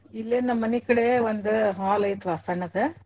ಇಲ್ಲೇ ನಮ್ಮ್ ಮನಿ ಕಡೆ ಒಂದ್ hall ಐತಿವಾ ಸಣ್ದ.